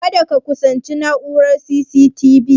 Kada ka kusanci na'urar C.C.T.V